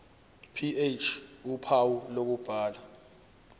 ph uphawu lokubhala